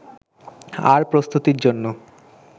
আর প্রস্তুতির জন্য